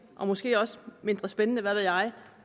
og måske også mindre spændende hvad ved jeg